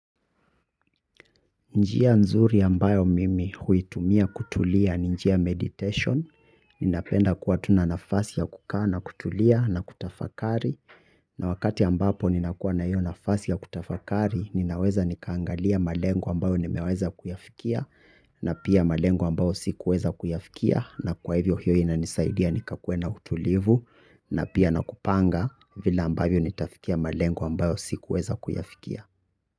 Njia nzuri ambayo mimi huitumia kutulia ni njia ya meditation. Ninapenda kuwa tu na nafasi ya kukaa na kutulia na kutafakari. Na wakati ambapo ninakuwa na hiyo nafasi ya kutafakari, ninaweza nikaangalia malengo ambayo nimeweza kuyafikia, na pia malengo ambayo sikuweza kuyafikia, na kwa hivyo hiyo inanisaidia nikakuwe na utulivu, na pia nakupanga vile ambavyo nitafikia malengo ambayo sikuweza kuyafikia.